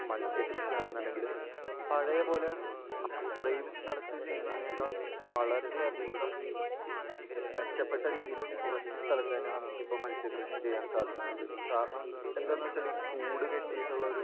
മത്സ്യ കൃഷിയാണെന്നുണ്ടെങ്കിൽ പഴയ പോലെ അ...അത്രയും സ്ഥലത്ത് ചെയ്യുന്നതിനേക്കാൾ വളരെയധികം മെച്ചപ്പെട്ട രീതിയിൽ കുറച്ച് സ്ഥലത്ത് തന്നെ നമുക്ക് ഇപ്പോൾ മത്സ്യക്കൃഷി ചെയ്യാൻ സാധിക്കുന്നുണ്ട്. കാരണം എന്താണെന്ന് വെച്ചാൽ ഈ കൂട് കെട്ടിയിട്ടുള്ള ഒരു